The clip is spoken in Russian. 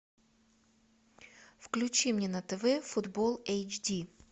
включи мне на тв футбол эйч ди